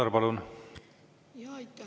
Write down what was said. Aitäh, lugupeetud juhataja!